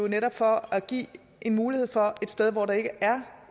netop for at give en mulighed for et sted hvor der ikke er